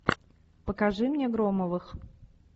покажи мне громовых